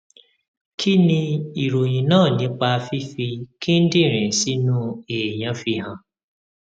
kí ni ìròyìn náà nípa fífi kíndìnrín sínú èèyàn fihan